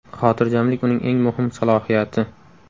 Xotirjamlik uning eng muhim salohiyati.